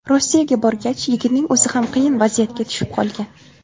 Rossiyaga borgach, yigitning o‘zi ham qiyin vaziyatga tushib qolgan.